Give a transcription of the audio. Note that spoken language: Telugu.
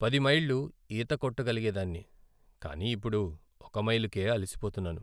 పది మైళ్ళు ఈత కొట్టగలిగేదాన్ని కానీ ఇప్పుడు ఒక మైలుకే అలసిపోతున్నాను.